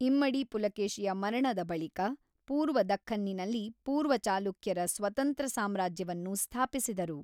ಇಮ್ಮಡಿ ಪುಲಕೇಶಿಯ ಮರಣದ ಬಳಿಕ, ಪೂರ್ವ ದಖ್ಖನ್ನಿನಲ್ಲಿ ಪೂರ್ವ ಚಾಲುಕ್ಯರು ಸ್ವತಂತ್ರ ಸಾಮ್ರಾಜ್ಯವನ್ನು ಸ್ಥಾಪಿಸಿದರು.